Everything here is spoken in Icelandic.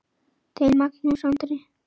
Þinn, Magnús Andri.